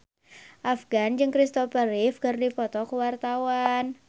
Afgan jeung Kristopher Reeve keur dipoto ku wartawan